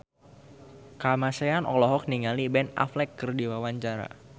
Kamasean olohok ningali Ben Affleck keur diwawancara